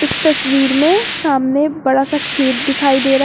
इस तस्वीर में सामने बड़ा सा खेत दिखाई दे र--